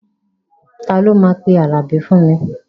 Ta ló máa pe Àlàbí fún mi?